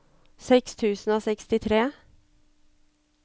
seks tusen og sekstitre